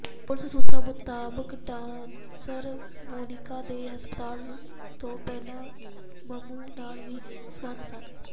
ਪੁਲਸ ਸੂਤਰਾਂ ਮੁਤਾਬਕ ਡਾਂਸਰ ਮੋਨਿਕਾ ਦੇ ਹਰਪਾਲ ਤੋਂ ਪਹਿਲਾਂ ਮੰਮੂ ਨਾਲ ਵੀ ਸਬੰਧ ਸਨ